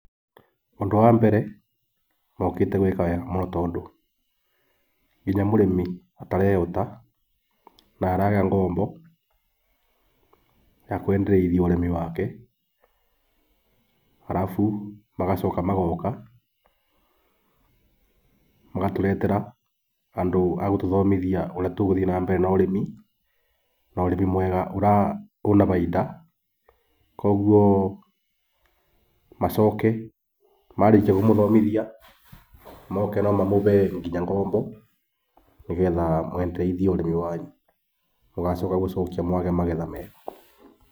Ũndũ wa mbere mokĩte gwĩka wega mũno tondũ, nginya mũrĩmi ũtarehota na araga ngombo yakwendereithia ũrĩmi wake. Arabu magacoka magoka magatũretera andũ a gũtũthomithia ũrĩa tũgũthiĩ na mbere na ũrĩmi na ũrĩmi mwega wĩna bainda. Koguo macoke marĩkia kũmuthomithia moke no mamũhe nginya ngombo nĩgetha mũendereithie ũrĩmi wanyu mũgacoka gũcokia mwagĩa magetha mega.